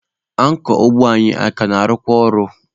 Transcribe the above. Ankọ ụgbọ anyị a ka na-arụkwa ọrụ?